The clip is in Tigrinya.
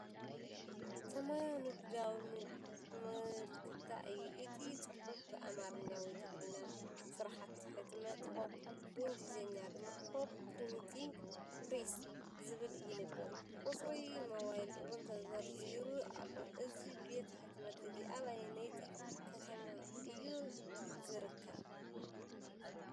ሰማያዊ ንግዳዊ ምልክታ እዩ። እቲ ጽሑፍ ብኣምሓርኛ ወይ ትግርኛ "ስራሕቲ ሕትመት ሆፕ"፡ ብእንግሊዝኛ ድማ "ሆፕ ፕሪንቲንግ ፕረስ" ዝብል ይንበብ። ቁጽሪ ሞባይል እውን ተዘርዚሩ ኣሎ። እዚ ቤት ሕትመት እዚ ኣብ ኣየነይቲ ከተማ እዩ ዚርከብ?